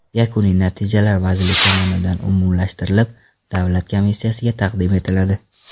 Yakuniy natijalar vazirlik tomonidan umumlashtirilib, davlat komissiyasiga taqdim etiladi.